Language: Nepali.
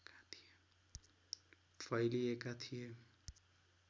फैलिएका थिए